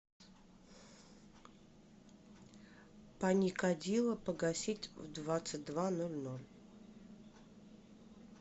паникадило погасить в двадцать два ноль ноль